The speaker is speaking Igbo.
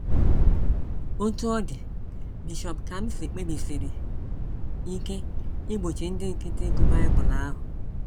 Otú ọ dị, Bishọp Kamsi kpebisiri ike igbochi ndị nkịtị ịgụ Bible ahụ.